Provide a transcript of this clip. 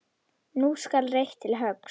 Nú skal reitt til höggs.